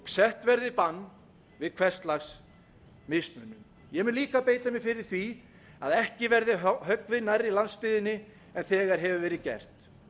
sett verði bann við hvers lags mismunun ég mun líka beita mér fyrir því að ekki verði höggvið nær landsbyggðinni en þegar hefur verið gert